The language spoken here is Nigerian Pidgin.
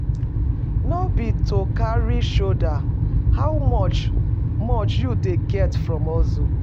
No be to carry shoulder, how much much you dey get from hustle?